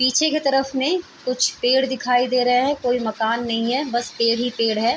पीछे की तरफ में कुछ पेड़ दिखाई दे रहे है कोई मकान नहीं है बस पेड़ ही पेड़ है।